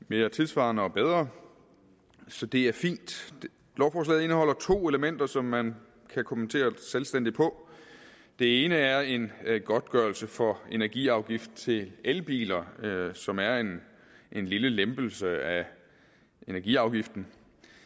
mere tidssvarende og bedre så det er fint lovforslaget indeholder to elementer som man kan kommentere selvstændigt på det ene er en godtgørelse for energiafgift til elbiler som er en lille lempelse af energiafgiften